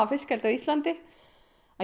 fiskeldi á Íslandi að